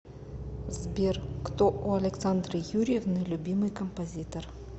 сбер кто у александры юрьевны любимый композитор